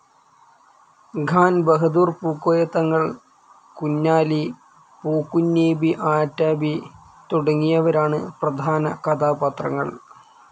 ഖാൻ ബഹദൂർ പൂക്കോയ തങ്ങൾ, കുഞ്ഞാലി, പൂക്കുഞ്ഞീബി ആ‌റ്റബീ തുടങ്ങിയവരാണ് പ്രധാന കഥാപാത്രങ്ങൾ.